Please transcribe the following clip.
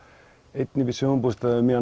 einn uppi í sumarbústað um miðja